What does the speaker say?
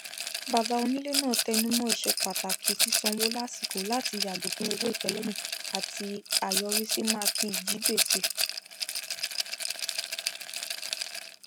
bàbá onílé náà tẹnumọ ìṣepàtàkì sísanwó lásìkò láti yàgò fún owó ìpẹlẹyìn àti àyọrísí máàkì ijigbèsè